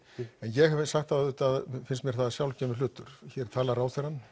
en ég hef sagt áður að auðvitað finnst mér það sjálfgefinn hlutur hér talar ráðherrann